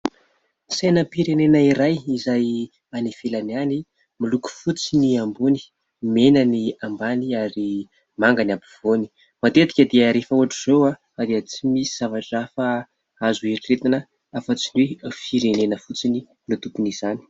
Sainam-pirenena iray izay any ivelana any. Miloko fotsy ny ambony, mena ny ambany ary manga ny ampivoany. Matetika dia rehefa ohatra izao dia tsy misy zavatra hafa azo heritreretana hafa tsy ny hoe firenena fotsiny no tompon' izany.